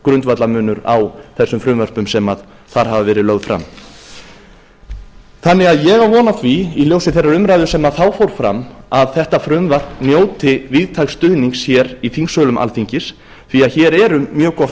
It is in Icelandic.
grundvallarmunur á þessum frumvörpum sem þar hafa verið lögð fram ég á von á því í ljósi þeirrar umræðu sem þá fór fram að þetta frumvarp njóti víðtæks stuðnings í þingsölum alþingis því hér er um mjög gott